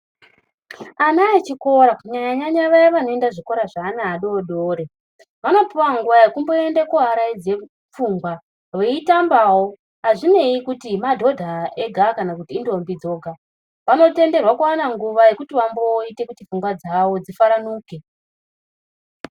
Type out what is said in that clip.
Ana echikora kunyanya nyanya vaya vanoenda kuzvikora zveana adodori vanopiwe nguwa yekumboenda koaraidze pfungwa veitambawo. Azvinei kuti madhodha ega kana intombi dzega vanotenderwa kuwana nguwa yekuti pfungwa dzavo dzifaranuke.